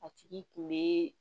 A tigi kun be